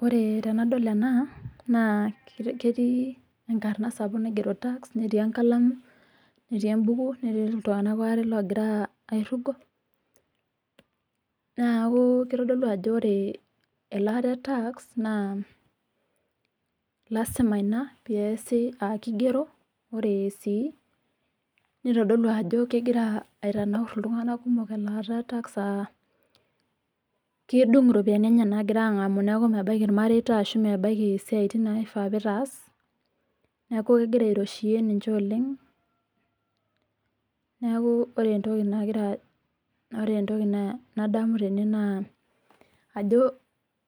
Ore tenadol ena naa ketii enkarna sapuk naigero tax netii enkalamu netii embuku netii iltung'ana aare oogira aairrugo, naaku kitodolu ajo ore elaata e tax naa lasima ina peesi aa kigero, ore sii neitodolu ajo kegira aitanaurr iltung'ana kumok elaata e tax aa kedung iropiyiani enye naagira aang'amu neeku mebaiki irmareita ashuu mebaiki isiaitin naifaa piitaas neeku kegira airoshiyie ninche oleng neeku ore entoki nagira adamu tene naa